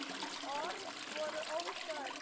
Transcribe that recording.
Orð voru óþörf.